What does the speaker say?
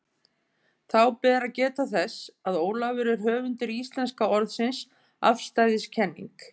Þá ber að geta þess, að Ólafur er höfundur íslenska orðsins afstæðiskenning.